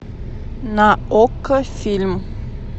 на окко фильм